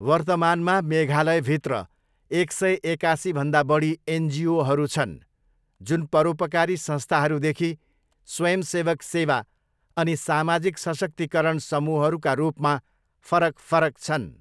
वर्तमानमा मेघालयभित्र एक सय एकासीभन्दा बढी एनजिओहरू छन् जुन परोपकारी संस्थाहरूदेखि स्वयंसेवक सेवा अनि सामाजिक सशक्तिकरण समूहहरूका रूपमा फरक फरक छन्।